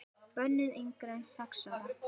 Bönnuð yngri en sex ára.